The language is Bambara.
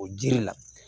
O jiri la